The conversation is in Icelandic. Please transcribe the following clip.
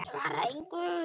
Svara engu.